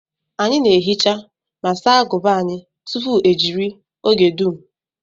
Anyị na ehicha ma saa aguba anyi tupu ejiri oge dum